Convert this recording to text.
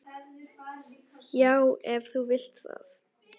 Já, ef þú vilt það.